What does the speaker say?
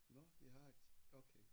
Nåh de har et okay